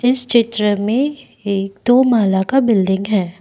इस चित्र में एक दो माला का बिल्डिंग है।